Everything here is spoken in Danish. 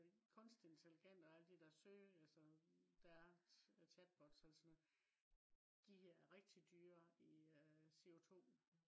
kunstig intelligens og de der søge øh altså der er chatbots eller sådan noget de er rigtig dyre i øh CO2